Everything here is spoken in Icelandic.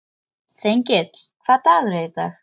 Þengill, hvaða dagur er í dag?